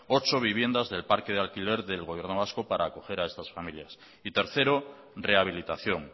ocho viviendas del parque de alquiler del gobierno vasco para acoger a estas familias y tercero rehabilitación